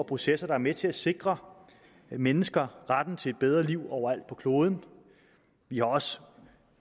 processer der er med til at sikre mennesker retten til et bedre liv overalt på kloden vi har også